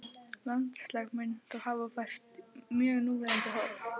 Landslag mun þá hafa færst mjög í núverandi horf.